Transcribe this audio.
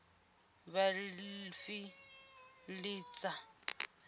vhafiḽista